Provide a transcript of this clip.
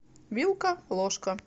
вилка ложка